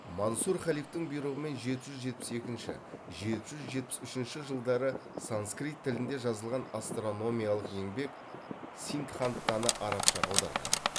мансұр халифтың бұйрығымен жеті жүз жетпіс екінші жеті жүз жетпіс үшінші жылдары санскрит тілінде жазылған астрономиялық еңбек сиддхантаны арабшаға аударған